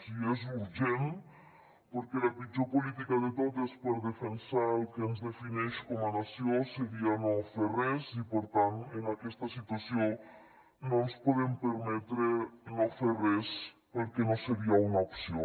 i és urgent perquè la pitjor política de tot és per defensar el que ens defineix com a nació seria no fer res i per tant en aquesta situació no ens podem permetre no fer res perquè no seria una opció